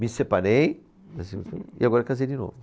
Me separei e agora casei de novo.